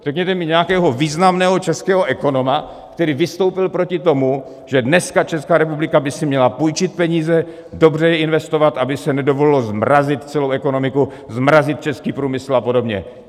Řekněte mi nějakého významného českého ekonoma, který vystoupil proti tomu, že dneska Česká republika by si měla půjčit peníze, dobře je investovat, aby se nedovolilo zmrazit celou ekonomiku, zmrazit český průmysl a podobně.